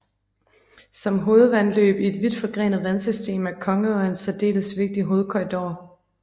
Som hovedvandløb i et vidt forgrenet vandsystem er Kongeå en særdeles vigtig hovedkorridor